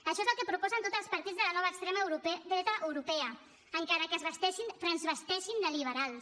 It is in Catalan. això és el que proposen tots els partits de la nova extrema dreta europea encara que es transvesteixin de liberals